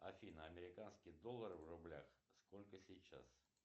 афина американский доллар в рублях сколько сейчас